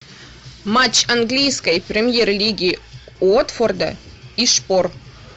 матч английской премьер лиги уотфорда и шпор